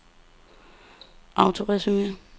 autoresume